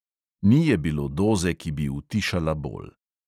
Ni je bilo doze, ki bi utišala bol.